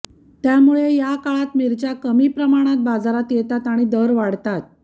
त्यामुळे या काळात मिरच्या कमी प्रमाणात बाजारात येतात आणि दर वाढतात